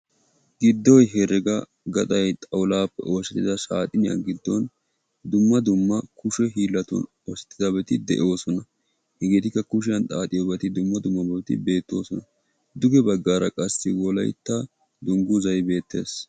Giddo hereg gaxxay xawullapee oosettida saxxiniya giddon dumma dumma kushe hiilatun oosettida de'oosona; hegetikka kushiyaan xaaxxiyoobati dumma dummabat beettoosona; duge baggar qassi Wolaytta dungguzay beettees.